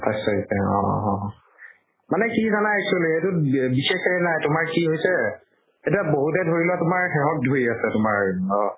আঁঠাইছ তাৰিখে অ অ অ। মানে কি জানা actually এইটোত বি বি বিশেষকে জানা তোমাৰ কি হৈছে এতিয়া বহুতে ধৰি লোৱা তোমাৰ সেহক ধৰি আছে তোমাৰ অ